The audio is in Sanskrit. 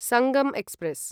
सङ्गं एक्स्प्रेस्